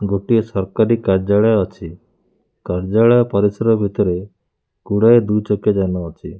ଗୋଟିଏ ସରକାରୀ କାର୍ଯ୍ୟାଳୟ ଅଛି କାର୍ଯ୍ୟାଳୟ ପରିସର ଭିତରେ ଗୁଡ଼ାଏ ଦୁଇ ଚକିଆ ଯାନ ଅଛି।